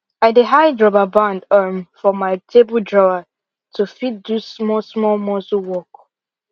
i dey hide rubber band um for my table drawer to fit do small small muscle work